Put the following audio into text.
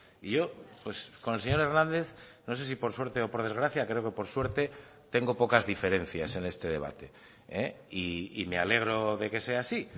y yo con el señor hernández no sé si por suerte o por desgracia creo que por suerte tengo pocas diferencias en este debate y me alegro de que sea así